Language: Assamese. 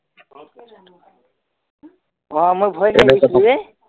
অ মই ভয় খাইচো এ